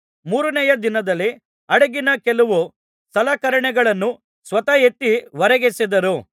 ಮೂರನೆಯ ದಿನದಲ್ಲಿ ಹಡಗಿನ ಕೆಲವು ಸಲಕರಣೆಗಳನ್ನು ಸ್ವತಃ ಎತ್ತಿ ಹೊರಗೆಸೆದರು